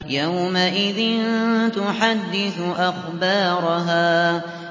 يَوْمَئِذٍ تُحَدِّثُ أَخْبَارَهَا